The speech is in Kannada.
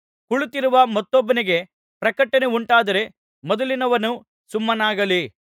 ಕುಳಿತಿರುವ ಮತ್ತೊಬ್ಬನಿಗೆ ಪ್ರಕಟನೆ ಉಂಟಾದರೆ ಮೊದಲಿನವನು ಸುಮ್ಮನಾಗಲಿ